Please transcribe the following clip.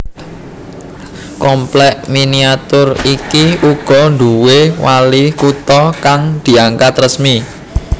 Komplèk miniatur iki uga nduwé wali kutha kang diangkat resmi